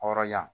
Hɔrɔnya